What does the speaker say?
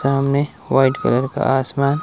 गांव में white colour का आसमान--